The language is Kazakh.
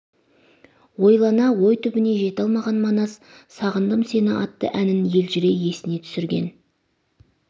ойлана ой түбіне жете алмаған манас сағындым сені атты әнін елжірей есіне түсірген